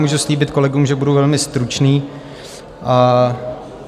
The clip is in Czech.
Můžu slíbit kolegům, že budu velmi stručný.